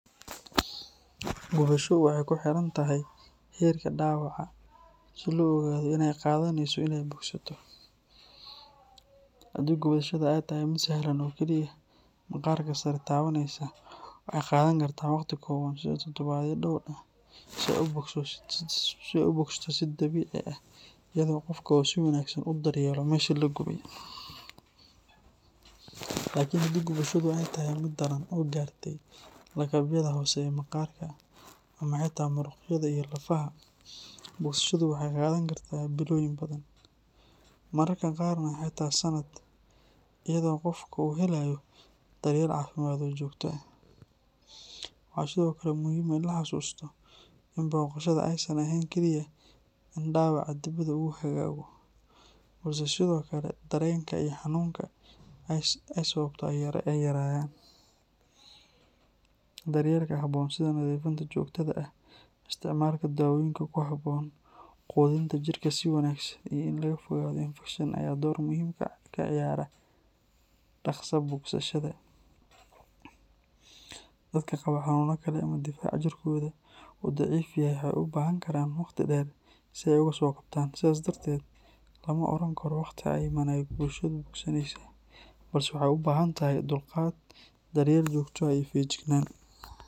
Gubasho waxay ku xiran tahay heerka dhaawaca si loo ogaado inta ay qaadaneyso inay bogsato. Haddii gubashada ay tahay mid sahlan oo keliya maqaarka sare taabanaysa, waxay qaadan kartaa waqti kooban sida toddobaadyo dhowr ah si ay u bogsato si dabiici ah, iyadoo qofka uu si wanaagsan u daryeelo meesha la gubtay. Laakiin haddii gubashadu ay tahay mid daran oo gaartay lakabyada hoose ee maqaarka, ama xitaa muruqyada iyo lafaha, bogsashadu waxay qaadan kartaa bilooyin badan, mararka qaarna xitaa sannad, iyadoo qofku uu helayo daryeel caafimaad oo joogto ah. Waxaa sidoo kale muhiim ah in la xasuusto in bogsashada aysan ahayn kaliya in dhaawaca dibadda uu hagaago, balse sidoo kale dareenka iyo xanuunka ay sababto ay yaraanayaan. Daryeelka habboon sida nadiifinta joogtada ah, isticmaalka daawooyinka ku habboon, quudinta jirka si wanaagsan, iyo in laga fogaado infekshan ayaa door muhiim ah ka ciyaara dhakhsaha bogsashada. Dadka qaba xanuuno kale ama difaac jirkooda uu daciif yahay waxay u baahan karaan waqti dheer si ay uga soo kabtaan. Sidaas darteed, lama oran karo waqti cayiman ayey gubashadu bogsaneysaa, balse waxay u baahan tahay dulqaad, daryeel joogto ah, iyo feejignaan.